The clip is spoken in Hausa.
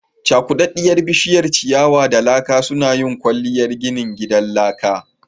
Cakuda busasshiyar ciyawa da laka suna yin kwalliyar ginin gidan laka